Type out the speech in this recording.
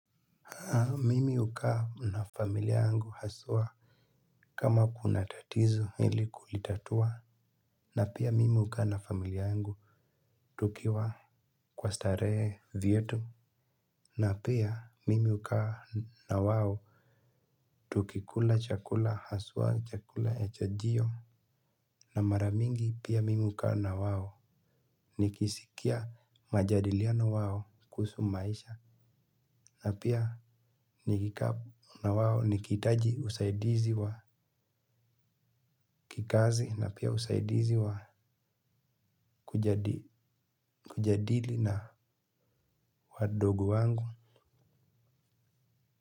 Mimi hukaa na familia yangu haswa kama kuna tatizo ili kulitatua. Na pia mimi hukaa na familia yangu tukiwa kwa starehe vyetu. Na pia mimi hukaa na wao tukikula chakula haswa chakula ya chajio. Na mara mingi pia mimi hukaa na wao nikisikia majadiliano wao kuhusu maisha. Na pia nikikaa na wao nikihitaji usaidizi wa kikazi na pia usaidizi wa kujadili na wadogo wangu.